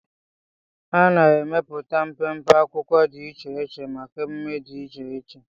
A na-emepụta mpempe akwụkwọ dị iche iche maka èmumé dị iche iche